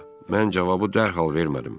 Mən cavabı dərhal vermədim.